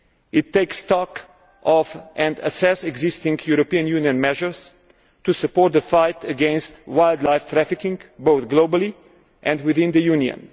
It takes stock of existing European Union measures to support the fight against wildlife trafficking both globally and within the Union.